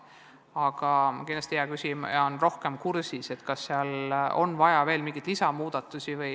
Aga kindlasti hea küsija on rohkem kursis, kas seal oleks vaja veel mingeid muudatusi.